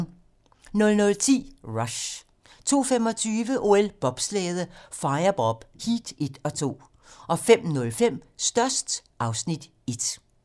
00:10: Rush 02:25: OL: Bobslæde - firebob, heat 1 og 2 05:05: Størst (Afs. 1)